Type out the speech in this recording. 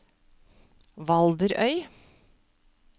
Valderøy